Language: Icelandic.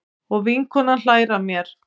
Og vinkonan hlær að mér.